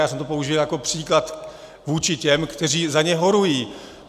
Já jsem to použil jako příklad vůči těm, kteří za ně horují.